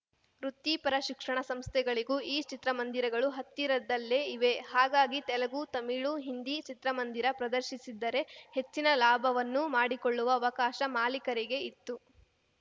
ವೃತ್ತಿಪರ ಶಿಕ್ಷಣ ಸಂಸ್ಥೆಗಳಿಗೂ ಈ ಚಿತ್ರಮಂದಿರಗಳು ಹತ್ತಿರದಲ್ಲೇ ಇವೆ ಹಾಗಾಗಿ ತೆಲುಗು ತಮಿಳು ಹಿಂದಿ ಚಿತ್ರಮಂದಿರ ಪ್ರದರ್ಶಿಸಿದ್ದರೆ ಹೆಚ್ಚಿನ ಲಾಭವನ್ನೂ ಮಾಡಿಕೊಳ್ಳುವ ಅವಕಾಶ ಮಾಲೀಕರಿಗೆ ಇತ್ತು